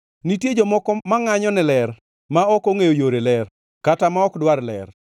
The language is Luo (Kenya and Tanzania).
“Nitie jomoko mangʼanyo ne ler, ma ok ongʼeyo yore ler, kata ma ok dwar ler.